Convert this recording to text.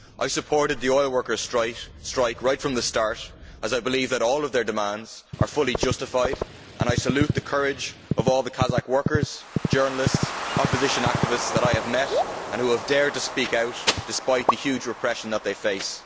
I supported the oil workers' strike right from the start, as I believe that all their demands are fully justified, and I salute the courage of all the Kazakh workers, journalists and opposition activities that I have met and who have dared to speak out, despite the huge repression that they face.